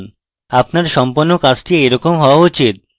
আপনার সম্পন্ন কাজটি এইরকম হওয়া উচিত